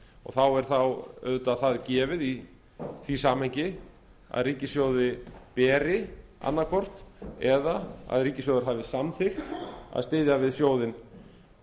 og þá er það auðvitað það gefið í því samhengi að ríkissjóði beri annaðhvort eða að ríkissjóður hafi samþykkt að styðja við sjóðinn